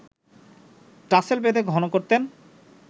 tassel বেঁধে ঘন করতেন